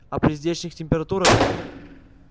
а при здешних температурах